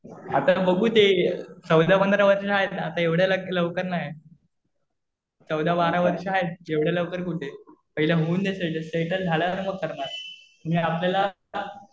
आता बघू ते. चौदा-पंधरा वर्षाचे आहेत. आता एवढ्या लवकर नाही. चौदा-बारा वर्ष आहेत. एवढ्या लवकर कुठे. पहिले होऊ दे. सेटल झाल्यानंतर मग करणार. आणि आपल्याला आता